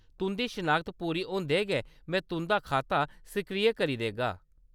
तुंʼदी शनाखत पूरी होंदे गै में तुंʼदा खाता सक्रिय करी देगा।